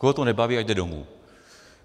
Koho to nebaví, ať jde domů.